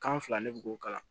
Kan fila ne bi k'o kala